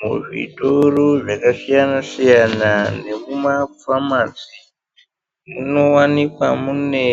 Muzvitoro zvakasiyana-siyana nemumafamasi munowanikwa mune